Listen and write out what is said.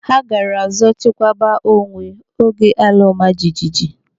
Ha gaara zo chekwaba onwe oge ala ọma jijiji.